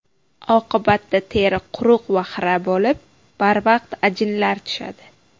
Oqibatda teri quruq va xira bo‘lib, barvaqt ajinlar tushadi.